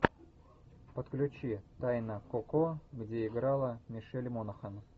подключи тайна коко где играла мишель монахэн